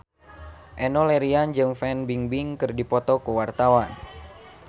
Enno Lerian jeung Fan Bingbing keur dipoto ku wartawan